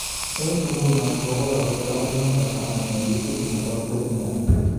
Eng inguno ko kokorek akoi number taman eng ligit nebo premia